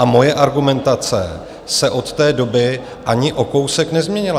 A moje argumentace se od té doby ani o kousek nezměnila.